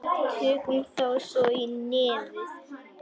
Tökum þá svo í nefið!